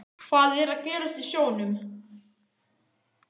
Hvað er að gerast í sjónum?